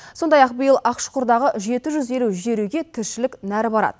сондай ақ биыл ақшұқырдағы жеті жүз елу жер үйге тіршілік нәрі барады